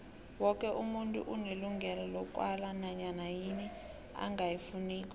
woke umuntu unelungelo lokwala nanyana yini angayifuniko